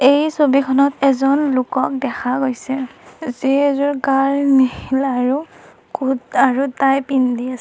এই ছবিখনত এজন লোকক দেখা গৈছে যিয়ে এযোৰ গাঢ় নীলা আৰু কোট আৰু টাই পিন্ধি আছ--